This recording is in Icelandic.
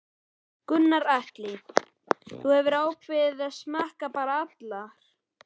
Gunnar Atli: Þú hefur ákveðið að smakka bara allar?